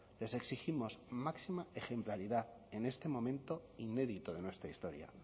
les exigimos máxima ejemplaridad en este momento inédito de nuestra historia